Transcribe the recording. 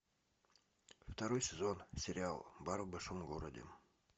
второй сезон сериал бар в большом городе